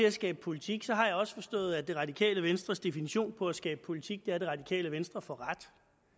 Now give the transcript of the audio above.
at skabe politik har jeg også forstået at det radikale venstres definition på at skabe politik er at det radikale venstre får ret